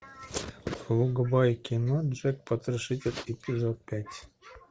врубай кино джек потрошитель эпизод пять